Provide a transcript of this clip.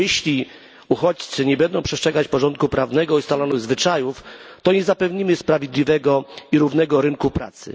Bo jeśli uchodźcy nie będą przestrzegać porządku prawnego i ustalonych zwyczajów, to nie zapewnimy sprawiedliwego i równego rynku pracy.